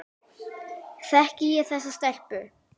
Þekki ég þessa stelpu?